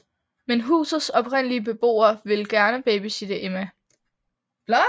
Men husets oprindelige beboere vil gerne babysitte Emma